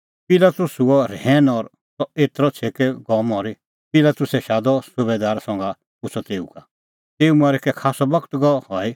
पिलातुस हुअ रहैन कि सह एतरअ छ़ेकै गअ मरी पिलातुसै शादअ सुबैदार संघा पुछ़अ तेऊ का तेऊ मरी कै खास्सअ बगत गअ हई